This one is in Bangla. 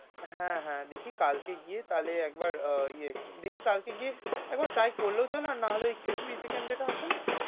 হ্যাঁ হ্যাঁ দেখি কালকে গিয়ে, তাইলে একবার ও ইয়ে দেখি কালকে গিয়ে একবার try করলেও চলে আর না হলে ওই crispy chicken যেটা আছে না,